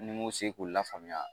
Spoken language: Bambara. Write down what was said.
Ni m'u se k'u lafaamuya